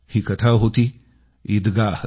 ही कथा होती ईदगाह